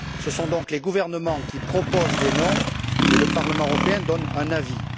Ce sont donc les gouvernements qui proposent les noms, et le Parlement européen qui donne un avis.